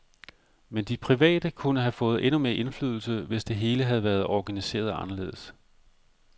Men de private kunne have fået endnu mere indflydelse, hvis det hele havde været organiseret anderledes.